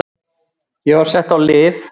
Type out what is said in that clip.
Ég var sett á lyf.